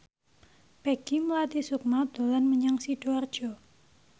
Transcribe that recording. Peggy Melati Sukma dolan menyang Sidoarjo